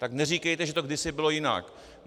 Tak neříkejte, že to kdysi bylo jinak.